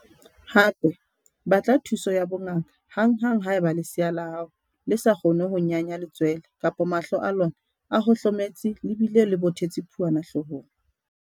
Hape, batla thuso ya bongaka hanghang haeba lesea la hao le sa kgone ho nyanya letswele kapa mahlo a lona a hohlometse le bile le bothetse phuana hloohong.